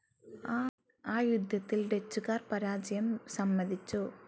ആ യുദ്ധത്തിൽ ഡച്ചുകാർ പരാജയം സമ്മതിച്ചു.